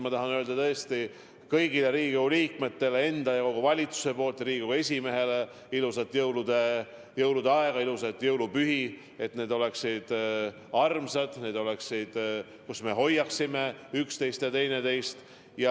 Ma tahan kõigile Riigikogu liikmetele, sealhulgas Riigkogu esimehele enda ja kogu valitsuse poolt soovida ilusat jõulude aega, ilusaid jõulupühi, et need oleksid armsad pühad, kus me hoiaksime üksteist.